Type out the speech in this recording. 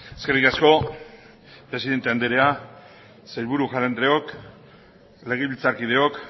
eskerrik asko presidente andrea sailburu jauna andreok legebiltzarkideok